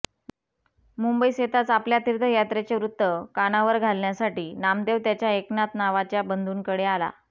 मुंबईस येताच आपल्या तीर्थयात्रेचे वृत्त कानावर घालण्यासाठी नामदेव त्याच्या एकनाथ नावाच्या बंधूंकडे आला